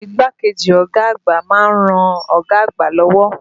Igbákejì ọ̀gá àgbà ma ń ran ọ̀gá àgbà lọ́wọ́.